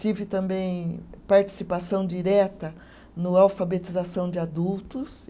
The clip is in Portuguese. Tive também participação direta no alfabetização de adultos.